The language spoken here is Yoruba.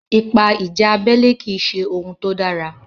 Ipa ìjà abẹ́lé kì í ṣe ohun tó dára.